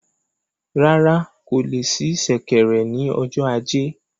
Rárá, kò le sí ṣẹ̀kẹ̀rẹ̀ ni ọjọ ajé